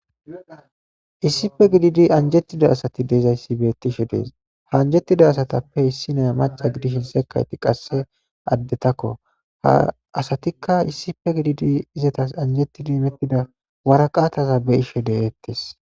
Issife gididi anjettida asati deezayssi beettishe dees ha anjettida asatappe issinaya maca gidishin sekayti qasse addetakko ha asatikka issife gididi izetas anjettidi mettida waraqataza be ishe de'eettes.